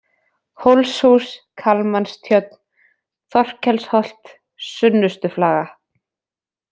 Hólshús, Kalmanstjörn, Þorkelsholt, Sunnustuflaga